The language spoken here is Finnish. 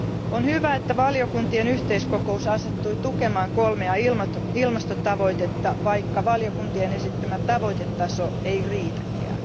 On hyvä, että valiokuntien yhteiskokous asettui tukemaan kolmea ilmastotavoitetta, vaikka valiokuntien esittämä tavoitetaso ei riitäkään.